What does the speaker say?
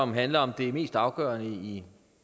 handler om det mest afgørende i